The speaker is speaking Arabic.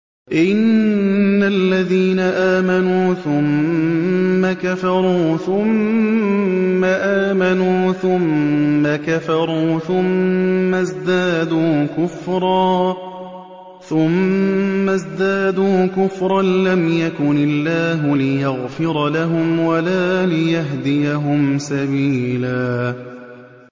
إِنَّ الَّذِينَ آمَنُوا ثُمَّ كَفَرُوا ثُمَّ آمَنُوا ثُمَّ كَفَرُوا ثُمَّ ازْدَادُوا كُفْرًا لَّمْ يَكُنِ اللَّهُ لِيَغْفِرَ لَهُمْ وَلَا لِيَهْدِيَهُمْ سَبِيلًا